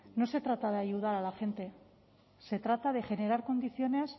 no se trata de ayudar a la gente se trata de generar condiciones